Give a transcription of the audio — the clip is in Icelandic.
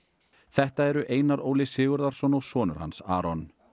þetta eru Einar Óli Sigurðarson og sonur hans Aron